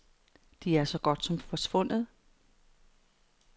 De er så godt som forsvundet.